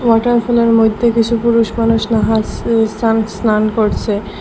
Water পুলের মধ্যে কিছু পুরুষ মানুষ নাহাসসে স্নান স্নান করছে।